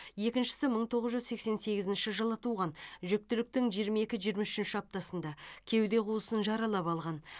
екіншісі мың тоғыз жүз сексен сегізінші жылы туған жүктіліктің жиырма екі жиырма үшінші аптасында кеуде қуысын жаралап алған